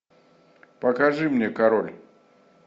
покажи мне король